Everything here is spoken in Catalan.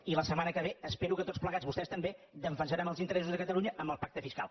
i la setmana que ve espero que tots plegats vostès també defensarem els interessos de catalunya amb el pacte fiscal